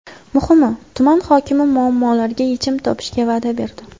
Muhimi, tuman hokimi muammolarga yechim topishga va’da berdi.